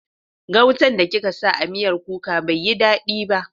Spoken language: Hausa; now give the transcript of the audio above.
Gautan da kika sa a miyar kuka bai yi dadi ba.